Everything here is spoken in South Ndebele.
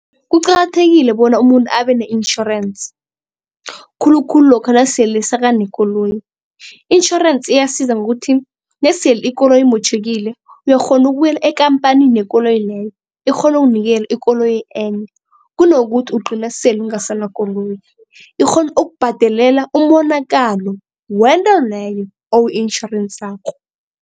Kuqakathekile bona umuntu abe ne-insurance khulukhulu lokha nasele sakanekoloyi. Intjhorensi iyasiza ngokuthi nesele ikoloyi imotjhekile uyakghona ukubuyela ekampanini yekoloyi leyo ikghone ukunikela ikoloyi enye kunokuthi ugcine sele ungasana koloyi. Ikghone ukubhadelela umonakalo wento leyo owu-itjhorensako.